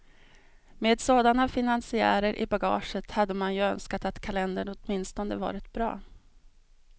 Med sådana finansiärer i bagaget hade man ju önskat att kalendern åtminstone varit bra.